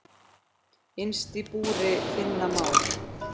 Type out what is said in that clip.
Innst í búri finna má.